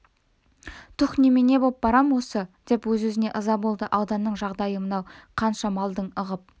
түһ немене боп барам осы деп өзіне өзі ыза болды ауданның жағдайы мынау қанша малдың ығып